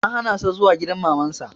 An hana sa zuwa gidan Maman sa